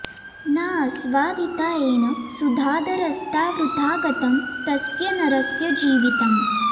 नाऽस्वादिता येन सुधाधरस्था वृथा गतं तस्य नरस्य जीवितम्